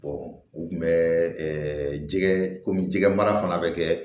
u kun bɛ jɛgɛ komi jɛgɛ mara fana bɛ kɛ